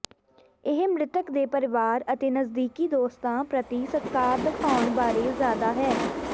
ਇਹ ਮ੍ਰਿਤਕ ਦੇ ਪਰਿਵਾਰ ਅਤੇ ਨਜ਼ਦੀਕੀ ਦੋਸਤਾਂ ਪ੍ਰਤੀ ਸਤਿਕਾਰ ਦਿਖਾਉਣ ਬਾਰੇ ਜ਼ਿਆਦਾ ਹੈ